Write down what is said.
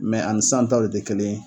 Mɛ ani sisanta le te kelen ye